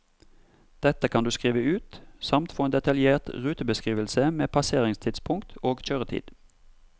Dette kan du skrive ut, samt få en detaljert rutebeskrivelse med passeringstidspunkt og kjøretid.